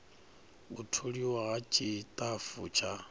u tholiwa ha tshitafu tsha